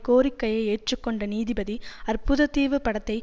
கோரிக்கையை ஏற்றுக்கொண்ட நீதிபதி அற்புதத்தீவு படத்தை